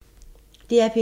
DR P2